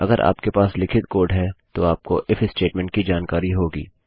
अगर आपके पास लिखित कोड है तो आपको इफ statementस्टेट्मेन्ट कि जानकारी होगी